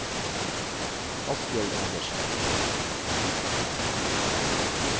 Asbjørg Anderssen